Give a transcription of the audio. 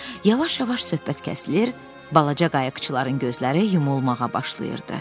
Yavaş-yavaş söhbət kəsilir, balaca qayıqçıların gözləri yumulmağa başlayırdı.